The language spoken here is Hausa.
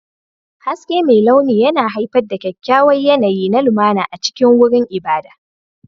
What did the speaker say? Haske mai launi yana haifar da kyakkyawan yanayi na lumana a cikin wurin ibada.